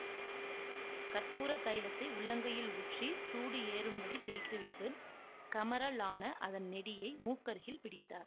கற்பூரத் தைலத்தை உள்ளங்கையில் ஊற்றி சூடு ஏறும்படித் தேய்த்துவிட்டு கமறலான அதன் நெடியை மூக்கருகில் பிடித்தார்